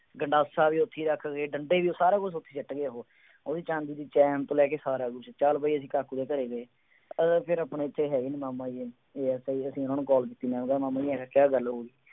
ਗੰਡਾਸਾ ਵੀ ਉੱਥੇ ਹੀ ਰੱਖ ਗਏ ਅਤੇ ਡੰਡੇ ਡੀ, ਸਾਰਾ ਕੁੱਛ ਉੱਥੇ ਹੀ ਸੁੱਟ ਗਏ ਉਹ, ਉਹਦੀ ਚਾਂਦੀ ਦੀ ਚੈਨ ਤੋਂ ਲੈ ਕੇ ਸਾਰਾ ਕੁੱਛ, ਚੱਲ ਬਈ ਅਸੀਂ ਕਾਕੂ ਦੇ ਘਰੇ ਗਏ, ਉਹ ਕਹਿੰਦੇ ਆਪਣੇ ਇੱਥੇ ਹੈ ਹੀ ਨਹੀਂ, ਮਾਮਾ ਜੀ ASI ਹੈ, ਉਹਨਾ ਨੂੰ ਕਾਲ ਕੀਤੀ, ਮੈਂ ਕਿਹਾ ਮਾਮਾ ਜੀ ਐਵੇਂ ਕਿਹਾ ਗੱਲ ਹੋ ਗਈ।